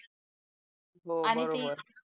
हो बरोबर आणि ते